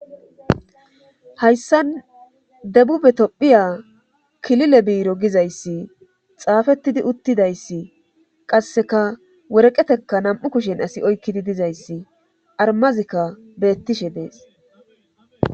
hayssan debube tophiya kilile biiro gizayssi xaafettidi uttidayssi qasseka woreqeteka nam7u kushen asi oykkidi dizayssi armazikka beettishe dees